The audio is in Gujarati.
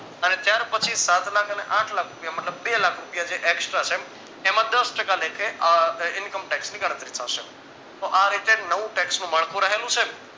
અને ત્યાર પછી સાતલાખ અને આઠલાખ રૂપિયા મતલબ બે લાખ રૂપિયા જે extra છે એમાં દસ ટકા લેખે income tax ની ગણતરી થશે તો આ રીતે નવું tax નું માળખું રહેલું છે